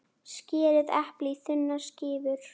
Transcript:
Skerið eplið í þunnar skífur.